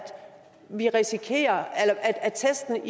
vi risikerer at testene